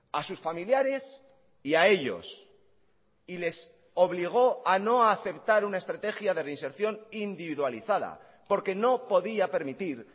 a sus familiares y a ellos y les obligó a no aceptar una estrategia de reinserción individualizada porque no podía permitir